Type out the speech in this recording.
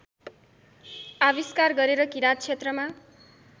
आविष्कार गरेर किराँतक्षेत्रमा